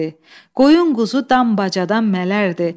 Qoyun-quzu dam bacadan mələrdi.